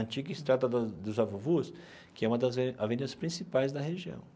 Antiga, que se trata da dos Zavuvus, que é uma das re avenidas principais da região.